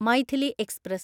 Maithili express